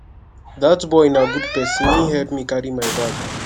dat boy na good person he help me carry my bag